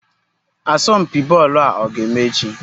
Asompi boolu a oga-eme echi?